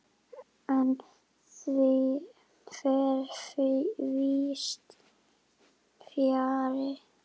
En því fer víðs fjarri.